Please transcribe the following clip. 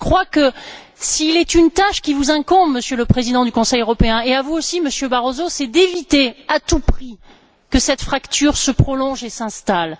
Je crois donc que s'il est une tâche qui vous incombe, Monsieur le Président du Conseil européen, et à vous aussi, Monsieur Barroso, c'est d'éviter à tout prix que cette fracture se prolonge et s'installe.